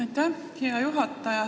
Aitäh, hea juhataja!